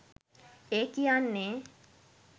ඒ කියන්නේ